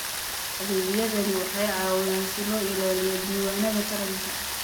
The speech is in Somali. Adeegyadani waxay caawiyaan si loo ilaaliyo diiwaannada taranka.